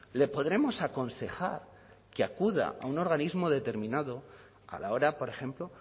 le podremos aconsejar que acuda a un organismo determinado a la hora por ejemplo